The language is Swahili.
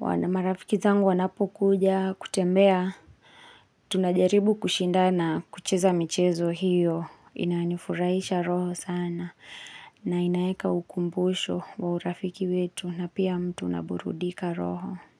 Wanamarafiki zangu wanapokuja kutembea. Tunajaribu kushindana kucheza michezo hiyo. Inanifurahisha roho sana. Na inaeka ukumbusho wa urafiki wetu na pia mtu unaburudika roho.